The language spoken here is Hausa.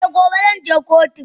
Eh gobe zanje kotu.